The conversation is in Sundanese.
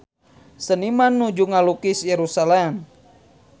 Seniman nuju ngalukis Yerusalam